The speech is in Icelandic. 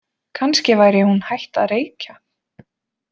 Kannski væri hún hætt að reykja?